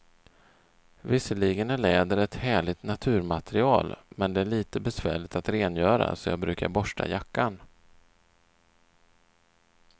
Visserligen är läder ett härligt naturmaterial, men det är lite besvärligt att rengöra, så jag brukar borsta jackan.